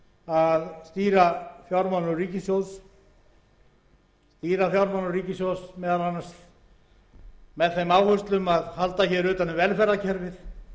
að stýra fjármálum ríkissjóðs meðal annars með þeim áherslum að halda hér utan um velferðarkerfið